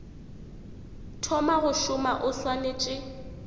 thoma go šoma o swanetše